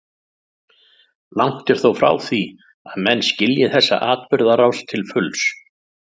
Langt er þó frá því að menn skilji þessa atburðarás til fulls.